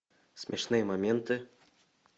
смешные моменты